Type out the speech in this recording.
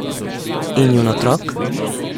In njun otrok?